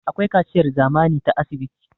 akwai kaciyar zamani ta asibiti